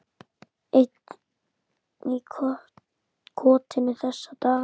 Einn í kotinu þessa dagana.